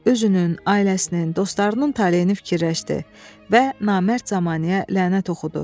Özünün, ailəsinin, dostlarının taleyini fikirləşdi və namərd zəmanəyə lənət oxudu.